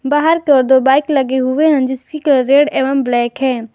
बाहर पे दो बाइक लगे हुए हैं जिसकी कलर रेड एवं ब्लैक है।